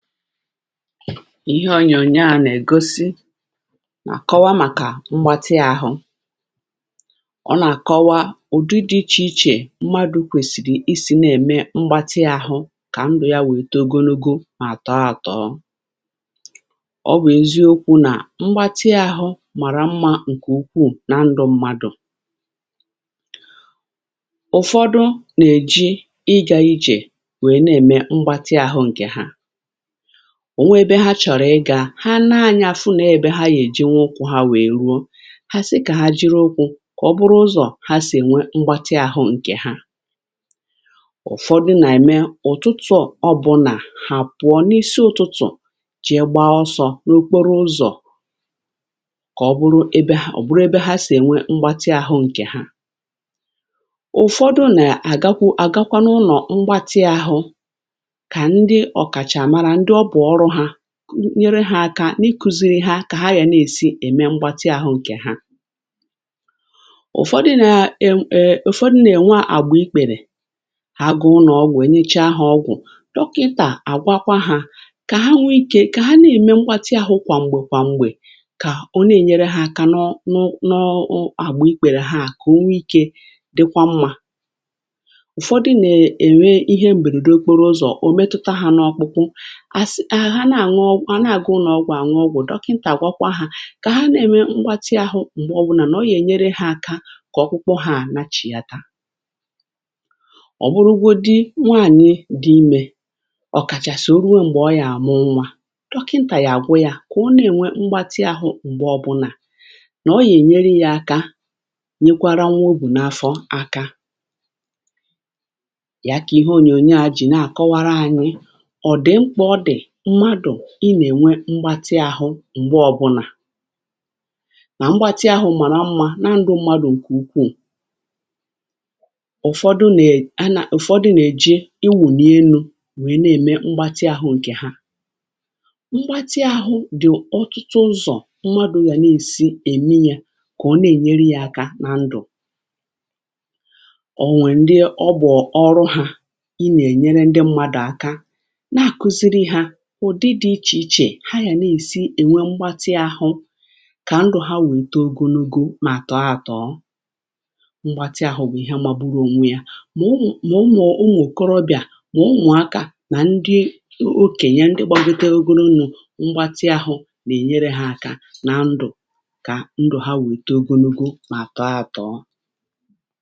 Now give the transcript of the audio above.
ihe ọnyà ọnyȧ à nà-ègosi nà-àkọwa màkà mgbatị àhụ ọ nà-àkọwa ụ̀dị dị̇ ichè ichè mmadụ̇ kwèsìrì isi̇ na-ème mgbatị àhụ kà ndụ̀ ya wèe togonugo, mà àtọ atọ̀ọ ọ wèe ziokwu nà mgbatị àhụ màrà mmȧ ǹkè ukwuù na ndụ̇ mmadụ̀. ụ̀fọdụ nà-èji ịgà ijè wèe na-ème mgbatị àhụ ǹkè ha, ọ̀ nwe ebe ha chọ̀rọ̀ ịgȧ, ha nȧȧnyȧ fụ nà ebe ha yèji nwe ukwụ̇ ha, wèè ruo, ha sị kà ha jiri ukwu̇ kà ọ bụrụ ụzọ̀ ha sì ènwe mgbatị ahụ̇ ǹkè ha. ụ̀fọdụ nà-ème ụ̀tụtụ̀, ọ bụlà hàpụ̀ọ n’isi ụ̀tụtụ̀, jì ya gba ọsọ n’okporo ụzọ̀ kà ọ bụrụ ebe ò bụrụ ebe ha sì ènwe mgbatị ahụ̇ ǹkè ha. ụ̀fọdụ nà-àgakwu àgakwa n’ụnọ̀ mgbatị ahụ̇, kà ndị ọ̀kàchàà màrà nyere ha akȧ n’ikùziri ha kà ha yà ne-èsi ème mgbatị ahụ̇ ǹkè ha. ụ̀fọdụ nȧ-ėm èm, um ụ̀fọdụ nà-ènwa àgbà ikpèrè ha, gụ̀ụlụ̀ ọgwụ̀, ènyecha ha ọgwụ̀, dọkịntà àgwakwa ha kà ha nwe ikė kà ha na-ème mgbatị ahụ̇ kwà m̀gbè kwà m̀gbè, kà o ne-ènyere ha kà nọ nọ a gbù ikpèrè ha, kà o nwe ikė dịkwa mmȧ. ụ̀fọdụ nà-ènwe ihe m̀bèrèdo okporo ụzọ̀ o metuta ha, nọọkpụkwụ, àna àgụ, anaghi ụlọ̀ ọgwụ, ànwụ ogwụ, dọkịntà àgwakwa ha kà ha ne me mgbatị ahụ̇, m̀gbè ọbụnà nà ọ yè nyere ha aka, kà ọkwụkwọ ha anachì ya. tà ọ̀ bụrụgodi nwaànyị dị imė, ọ̀kàchàsị o ruo m̀gbè ọ yà àmụ nwȧ, dọkịntà yà àgwụ yȧ, kà ọ ne enwe mgbatị ahụ̇, m̀gbè ọbụnà nà ọ yè nyere ya aka nyekwara nwa, o bù n’afọ aka yà. kà ihe onyonyo à jì na àkọwara anyị, mmadụ̀ ị nà-ènwe mkpati ahụ̇ m̀gbe ọbụnà nà mkpati ahụ̇ màrà mmȧ na ndụ mmadụ̇ ǹkè ukwuù. ụ̀fọdụ nà-èn… a na… ụ̀fọdụ nà-èji ịwụ̇ n’elu̇, nwèe na-ème mkpati ahụ̇ ǹkè ha. mkpati ahụ̇ dị̀ ọtụtụ ụzọ̀ mmadụ̇ yà na-èsi ème yȧ, kà ọ na-ènyere yȧ akȧ n’ndụ̀. ọ̀ nwè ndị ọbụ̀ọ̀ ọrụ, hȧ ị nà-ènyere ndị mmadụ̀ àka, na-àkụziri hȧ ụ̀dị dị̇ ichè ichè ha yà nà-èsi ènwe mgbatị ahụ, kà ndụ̀ ha wèta ogonogo mà àtọ ahàtọọ. mgbatị ahụ̇ bụ̀ ihe amaburu ònwe yȧ, mà ọ wụ̀, mà ọ mọ̀ọ̀, ụmụ̀ kọrọbị̀à, mà ọ mụ̀akȧ, nà ndị okenye, ndị gbȧgote ogonogo, mgbatị ahụ̇ nà-ènyere ha akȧ nà ndụ̀, kà ndụ̀ ha wèta ogonogo mà àtọ ahụ̀tọọ.